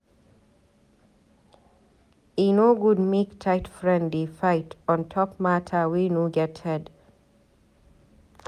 E no good make tight friend dey fight on top mata wey no get head.